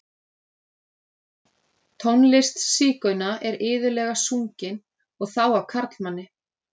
Tónlist sígauna er iðulega sungin, og þá af karlmanni.